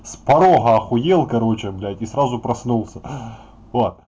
с порога ахуел короче блять и сразу проснулся вот